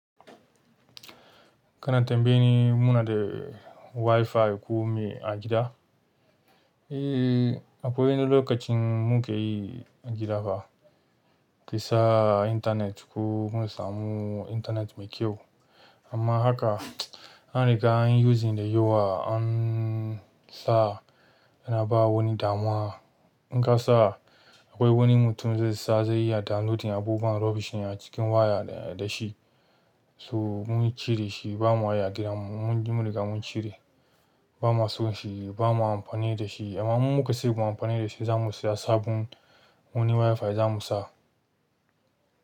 Kana tambayi muna da WiFi ko me a gida? Eh, akwai wani lokacin mu ke yi a gida ba, ki sa intanet ko mu samu intanet mai kyau. Amma haka an riga an yi using da yawa an sa, ana bawa wani damuwa. In ka sa akwai wani mutum zai sa zai yi tada, lokacin abubuwan rubbish yana cikin waya da shi. So mun cire shi bamu waya gidan mu, mun riga mun cire. Bamu son shi, ba ma amfani da shi. Amma mun muka sake mu amfani da shi za mu siya sabon wani WiFi za mu sa.